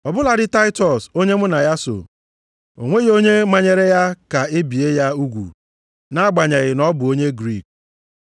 Ọ bụladị Taịtọs onye mụ na ya so, o nweghị onye manyere ya ka e bie ya ugwu nʼagbanyeghị na ọ bụ onye Griik.